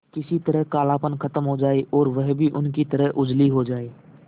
किसी तरह कालापन खत्म हो जाए और वह भी उनकी तरह उजली हो जाय